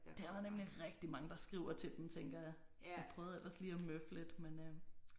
Der er nemlig rigtig mange der skriver til dem tænker jeg. Jeg prøvede ellers lige at møffe lidt men